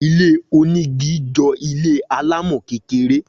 Ilé oní igi jọ ilé alámò kékeré